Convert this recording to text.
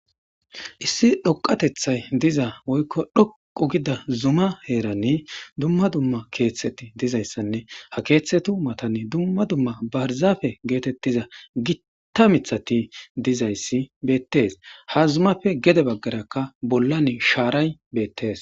issi dhoqatethay diza woykko dhoqu gida zuma heerani dumma dumma keeththeti dizayssanne ha keeththetu matani dumma dumma barzafe geetettiza gitta mithati dizayssi beettees ha zumafe gede baggarakka bollan shaaray beettes